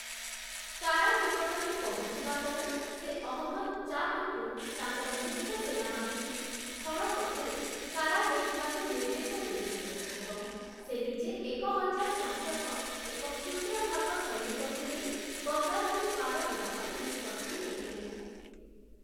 କାରା ନିକଟରେ ପହଞ୍ଚିବା ପରେ ସେ ଅହମ୍ମଦ୍‌ ଚାପ୍‌ଙ୍କୁ, ତାଙ୍କର ମୁଖ୍ୟ ସେନାବାହିନୀ, ସ୍ଥଳ ପଥରେ 'କାରା' ନେଇଯିବାକୁ ନିର୍ଦ୍ଦେଶ ଦେଇଥିଲେ ଏବଂ ସେ ନିଜେ ଏକ ହଜାର ସଂଖ୍ୟକ, ଏକ କ୍ଷୁଦ୍ର ଭାଗ ସୈନିକକୁ ନେଇ ଗଙ୍ଗା ନଦୀ ପାର ହେବା ପାଇଁ ନିଷ୍ପତ୍ତି ନେଇଥିଲେ ।